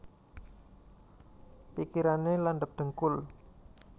Pikirane landhep dhengkul